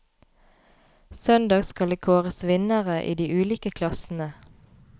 Søndag skal det kåres vinnere i de ulike klassene.